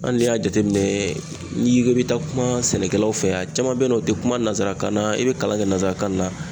Hali n'i y'a jateminɛ, n'i ko i bi taa kuma sɛnɛkɛlaw fɛ, a caman bɛ yen nɔ. u tɛ kuma nanzarakan na, i bɛ kalan kɛ nanzarakan na.